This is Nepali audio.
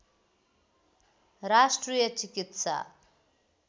राष्ट्रिय चिकित्सा